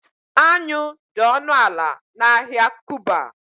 anyụ dị ọnụ ala na ahịa kuba